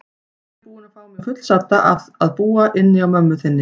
Ég er búin að fá mig fullsadda af að búa inni á mömmu þinni.